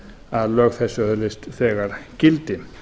að lög þessi öðlist þegar gildi